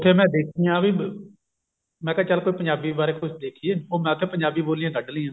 ਤੇ ਮੈਂ ਦੇਖੀਆਂ ਵੀ ਮੈਂ ਕਿਹਾ ਵੀ ਚੱਲ ਪੰਜਾਬੀ ਬਾਰੇ ਕੁੱਝ ਦੇਖੀਏ ਉਹ ਮੈਂ ਉੱਥੇ ਪੰਜਾਬੀ ਬੋਲੀਆਂ ਕੱਢ ਲਾਈਆਂ